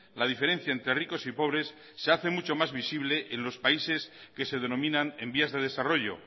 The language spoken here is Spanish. la diferencia entre ricos y pobres se hace mucho más visible en los países que se denominan en vías de desarrollo